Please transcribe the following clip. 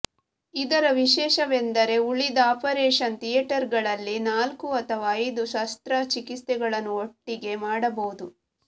ಇದರ ವಿಶೇಷವೆಂದರೆ ಉಳಿದ ಆಪರೇಷನ್ ಥಿಯೇಟರ್ಗಳಲ್ಲಿ ನಾಲ್ಕು ಅಥವಾ ಐದು ಶಸ್ತ್ರ ಚಿಕಿತ್ಸೆಗಳನ್ನು ಒಟ್ಟಿಗೆ ಮಾಡಬಹುದು